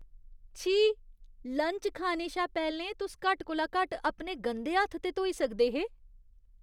छी! लंच खाने शा पैह्लें तुस घट्ट कोला घट्ट अपने गंदे हत्थ ते धोई सकदे हे।